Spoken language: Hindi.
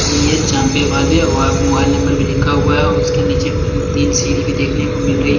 मिए चामपे वाले वहा पे मोबाइल नंबर भी लिखा हुआ है उसके नीचे तीन सीढ़ी भी देखने को मिल रही--